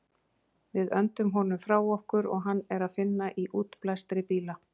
Við öndum honum frá okkur og hann er að finna í útblæstri bíla.